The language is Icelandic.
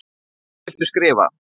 Hvað viltu skrifa?